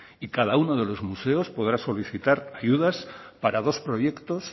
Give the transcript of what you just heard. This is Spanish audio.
y cada uno de los museos podrá solicitar ayudas para dos proyectos